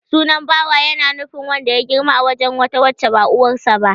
Sunan Bawa ya na nufin wanda ya girma a wurin wata wacce ba uwarsa ba.